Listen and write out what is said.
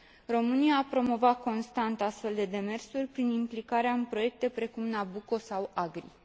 România a promovat constant astfel de demersuri, prin implicarea în proiecte precum Nabucco sau AGRI.